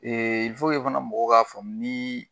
fana mɔgɔw k'a faamu niii.